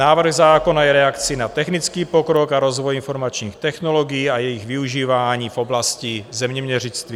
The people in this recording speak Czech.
Návrh zákona je reakcí na technický pokrok a rozvoj informačních technologií a jejich využívání v oblasti zeměměřictví.